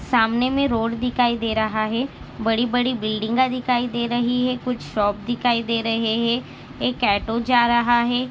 सामने मे रोड दिखाई दे रहा है बड़ी-बड़ी बिल्डिंगा दिखाई दे रही है कुछ शॉप दिखाई दे रहे है एक ऑटो जा रहा है।